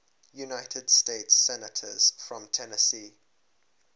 united states senators from tennessee